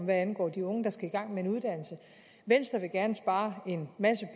hvad angår de unge der skal i gang med en uddannelse venstre vil gerne spare en masse